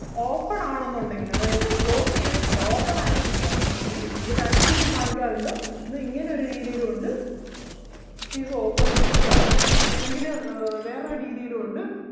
open ആണെന്നുണ്ടെങ്കില് അതായത് close ചെയ്‌തിട്ടില്ല open ആയിട്ട് ഇരിക്കുകയാണെന്നുണ്ടെങ്കിൽ അത് രണ്ട് രീതിയിൽ കാണിക്കാറുണ്ട് ഒന്ന് ഇങ്ങനെ ഒരു രീതിയിലും ഒണ്ട് this is the open switch ആണ് അല്ലെങ്കില് ആഹ് വേറൊരു രീതിയിലും ഒണ്ട്.